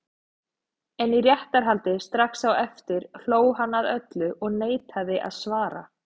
En í réttarhaldi strax á eftir hló hann að öllu og neitaði að svara.